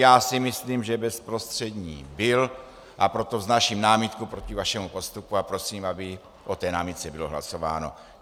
Já si myslím, že bezprostřední byl, a proto vznáším námitku proti vašemu postupu a prosím, aby o té námitce bylo hlasováno.